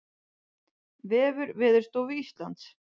Vefur Veðurstofu Íslands